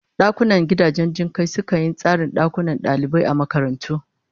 Dakunan gidajen jin kai sukan yi tsarin dakunan dalibai a makarantu